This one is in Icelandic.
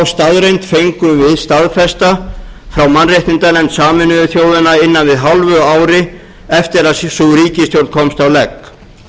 staðreynd fengum við staðfesta hjá mannréttindanefnd sameinuðu þjóðanna innan við hálfu ári eftir að sú ríkisstjórn komst á legg